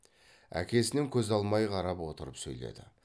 әкесінен көз алмай қарап отырып сөйледі